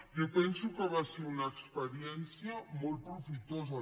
jo penso que va ser una experiència molt profitosa